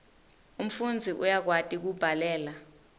umfundzi uyakwati kubhalela